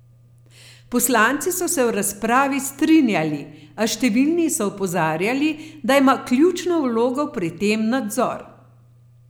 Poslanci so se v razpravi strinjali, a številni so opozarjali, da ima ključno vlogo pri tem nadzor.